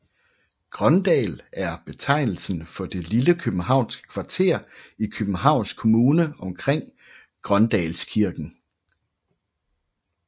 Grøndal er betegnelsen for det lille københavnske kvarter i Københavns Kommune omkring Grøndalskirken